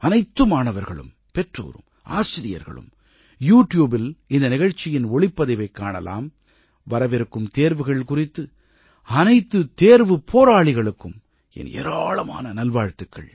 அனைத்து மாணவர்களும் பெற்றோரும் ஆசிரியர்களும் யூ ட்யூபில் இந்த நிகழ்ச்சியின் ஒளிப்பதிவைக் காணலாம் வரவிருக்கும் தேர்வுகள் குறித்து அனைத்து தேர்வுப் போராளிகளுக்கும் என் ஏராளமான நல்வாழ்த்துக்கள்